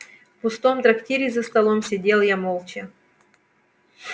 в пустом трактире за столом сидел я молча